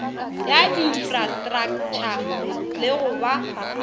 ya infrastraktšha le go ba